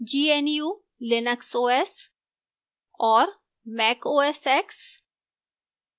gnu/linux os और